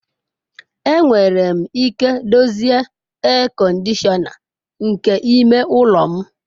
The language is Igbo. Enwere m ike dozie ea kọndishọna nke ime ụlọ m.